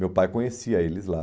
Meu pai conhecia eles lá.